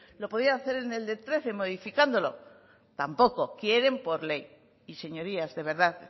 lo podían hacer en el de trece modificándolo tampoco quieren por ley y señorías de verdad